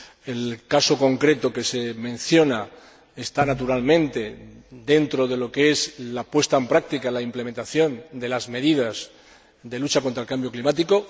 El caso concreto que se menciona está naturalmente dentro de lo que es la puesta en práctica, la implementación de las medidas de lucha contra el cambio climático.